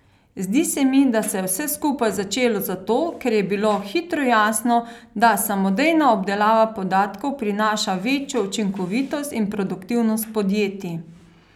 Zdi se mi, da se je vse skupaj začelo zato, ker je bilo hitro jasno, da samodejna obdelava podatkov prinaša večjo učinkovitost in produktivnost podjetij.